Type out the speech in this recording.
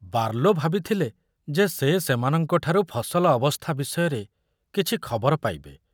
Barlow ଭାବିଥିଲେ ଯେ ସେ ସେମାନଙ୍କଠାରୁ ଫସଲ ଅବସ୍ଥା ବିଷୟରେ କିଛି ଖବର ପାଇବେ।